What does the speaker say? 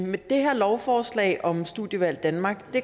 med det her lovforslag om studievalg danmark